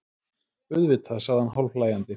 Auðvitað, sagði hann hálfhlæjandi.